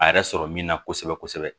A yɛrɛ sɔrɔ min na kosɛbɛ kosɛbɛ